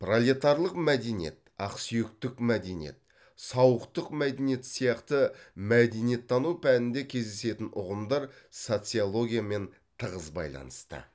пролетарлық мәдениет ақсүйектік мәдениет сауықтық мәдениет сияқты мәдениеттану пәнінде кездесетін ұғымдар социологиямен тығыз байланысты